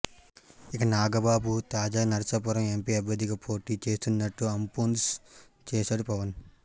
ఇక నాగబాబు తాజాగా నర్సాపురం ఎంపీ అభ్యర్థిగా పోటీ చేస్తున్నట్టు అంపున్స్ చేసాడు పవన్